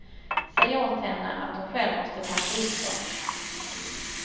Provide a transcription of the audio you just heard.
Säg åt henne att hon själv måste packa upp dem.